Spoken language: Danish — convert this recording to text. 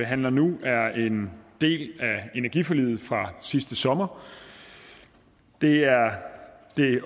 behandler nu er en del af energiforliget fra sidste sommer det er